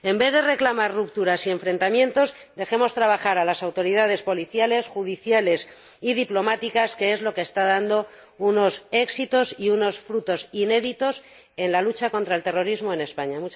En vez de reclamar rupturas y enfrentamientos, dejemos trabajar a las autoridades policiales, judiciales y diplomáticas, que es lo que está dando unos éxitos y unos frutos inéditos en la lucha contra el terrorismo en España.